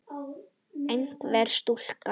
Einhver stúlka?